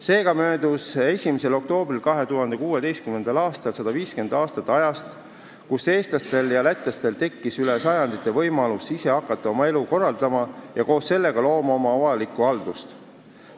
Seega möödus 1. oktoobril 2016. aastal 150 aastat ajast, kui eestlastel ja lätlastel tekkis üle sajandite võimalus ise oma elu korraldama hakata ja koos sellega oma avalikku haldust looma.